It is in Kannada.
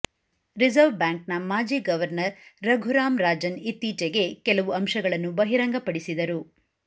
ರಿಸರ್ವ್ ಬ್ಯಾಂಕ್ನ ಮಾಜಿ ಗವರ್ನರ್ ರಘುರಾಮ್ ರಾಜನ್ ಇತ್ತೀಚೆಗೆ ಕೆಲವು ಅಂಶಗಳನ್ನು ಬಹಿರಂಗಪಡಿಸಿದರು